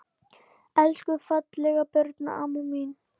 Elsku fallega Birna amma mín.